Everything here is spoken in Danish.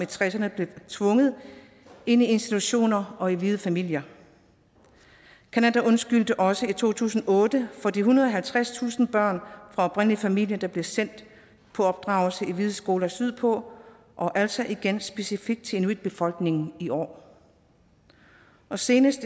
tresserne blev tvunget ind i institutioner og hvide familier canada undskyldte også i to tusind og otte for de ethundrede og halvtredstusind børn fra oprindelige folks familier der blev sendt på opdragelse i hvide skoler sydpå og altså igen specifikt til inuitbefolkningen i år senest